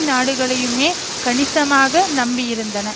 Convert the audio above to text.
நாடுகளையுமே கணிசமாக நம்பியிருந்தன